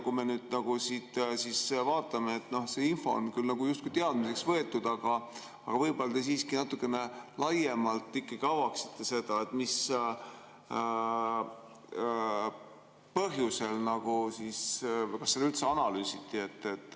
Kui me vaatame, siis see info on küll justkui teadmiseks võetud, aga võib-olla te siiski natukene laiemalt avaksite seda, mis põhjus nagu siin on või kas seda üldse analüüsiti.